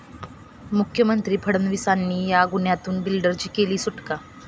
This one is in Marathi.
मुख्यमंत्री फडणवीसांनी 'या' गुन्ह्यातून बिल्डरांची केली सुटका